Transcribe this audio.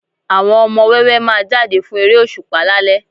Àwọn ọmọ wẹ́wẹ́ máa jáde fún eré òṣùpá lálẹ́